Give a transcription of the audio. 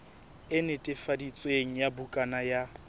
e netefaditsweng ya bukana ya